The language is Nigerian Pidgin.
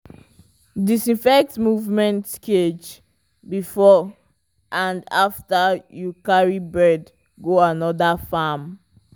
disinfect movement cage before and after you carry bird go another farm.